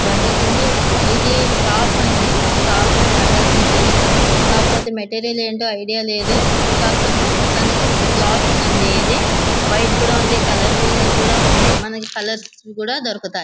Bundle ఉంది ఇది shop అండి షాపులో బండిల్సు ఉన్నాయి కాకపోతే మెటీరియల్ ఏంటో ఐడియా లేదు కాకపోతే మొత్తానికి ఏదో క్లోత్ అండి వైరు కూడా ఉంది కలర్ఫుల్ గా ఉంది మనకు కలర్స్ కూడా దొరుకుతాయి.